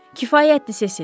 Kifayətdir, Sesil.